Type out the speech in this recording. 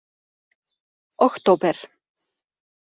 október